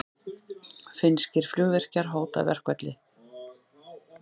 Finnskir flugvirkjar hóta verkfalli